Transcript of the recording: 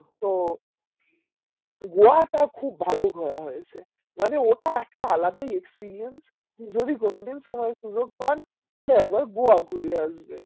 তো গোয়া টা খুব ভালো ঘোরা হয়েছে মানে ওটা একটা আলাদাই experience যদি কোনদিন সময় সুযোগ পান তাহলে একবার গোয়া ঘুরে আসবে